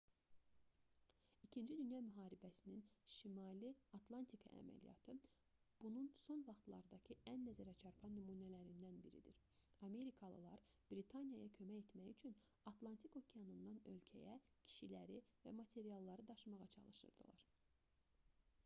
ii dünya müharibəsinin şimali atlantika əməliyyatı bunun son vaxtlardakı ən nəzərəçarpan nümunələrindən biridir amerikalılar britaniyaya kömək etmək üçün atlantik okeanından ölkəyə kişiləri və materialları daşımağa çalışırdılar